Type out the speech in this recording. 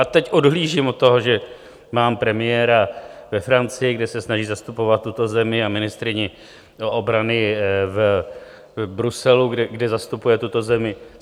A teď odhlížím od toho, že mám premiéra ve Francii, kde se snaží zastupovat tuto zemi, a ministryni obrany v Bruselu, kde zastupuje tuto zemi.